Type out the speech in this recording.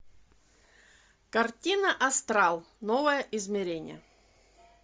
картина астрал новое измерение